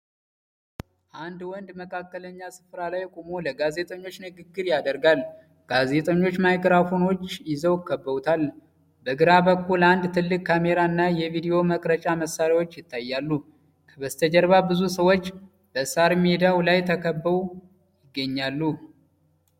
አንድ ወንድ መካከለኛ ስፍራ ላይ ቆሞ ለጋዜጠኞች ንግግር ያደርጋል። ጋዜጠኞች ማይክሮፎኖች ይዘው ከበውታል። በግራ በኩል አንድ ትልቅ ካሜራ እና የቪዲዮ መቅረጫ መሳሪያዎች ይታያሉ። ከበስተጀርባ ብዙ ሰዎች በሳር ሜዳው ላይ ተሰብስበው ይገኛሉ።